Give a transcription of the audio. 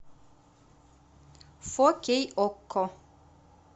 фо кей окко